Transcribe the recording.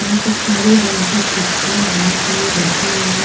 यहाँ पर काली रंग की कुर्सियाँ बहुत सारी रखी हुई है।